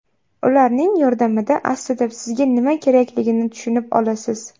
Ularning yordamida aslida sizga nima kerakligini tushunib olasiz.